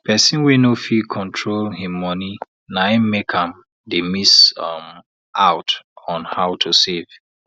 person wey no fit control him money naim make am dey miss um out on how to save